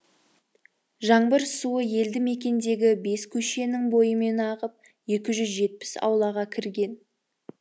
жаңбыр суы елді мекендегі бес көшенің бойымен ағып екі жүз жетпіс аулаға кірген